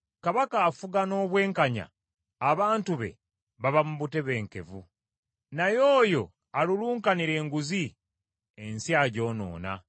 Kabaka afuga n’obwenkanya, abantu be baba mu butebenkevu, naye oyo alulunkanira enguzi, ensi agyonoona.